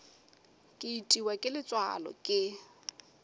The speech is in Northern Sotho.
ke itiwa ke letswalo ke